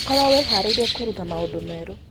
Korũo wĩhaarĩirie kwĩruta maũndũ merũ.